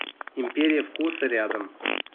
империя вкуса рядом